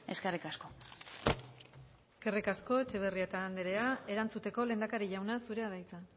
eskerrik asko eskerrik asko etxebarrieta andrea erantzuteko lehendakari jauna zurea da hitza